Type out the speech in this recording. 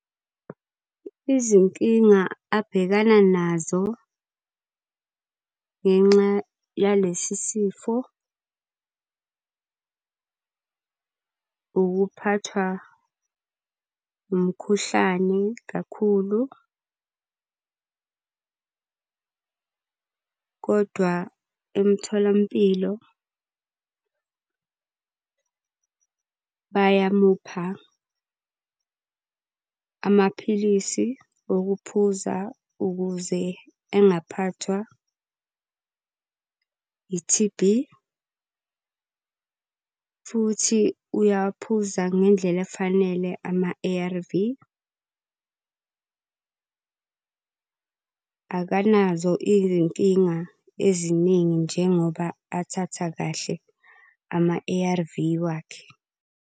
Izinkinga abhekana nazo ngenxa yalesi sifo ukuphathwa umkhuhlane kakhulu, kodwa emtholampilo bayamupha amaphilisi okuphuza ukuze engaphathwa i-T_B. Futhi uyaphuza ngendlela efanele ama-A_R_V, akanazo izinkinga eziningi njengoba athatha kahle ama-A_R_V wakhe.